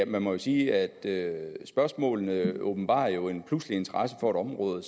man må sige at spørgsmålene åbenbarer en pludselig interesse for et område